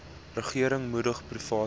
regering moedig private